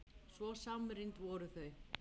Svo samrýnd voru þau.